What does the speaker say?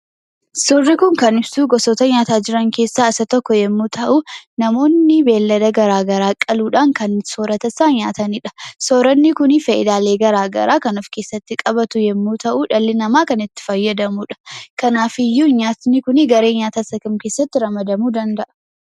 Suurri kun kan ibsuu, gosoota nyaataa jiran keessaa isa tokko yemmuu ta'u, namoonni beelada garaagaraa qaluudhaan kan soorataniis ta'u nyaataniidha. . Sooranni kun faayidalee garaagaraa kan ofkeessatti qabatu yemmu ta'u, dhalli namaa kan itti fayyadamuudha. Kanaafiyyu nyaatni kun garee nyaataa isa kam keessatti ramadamuu danda'a?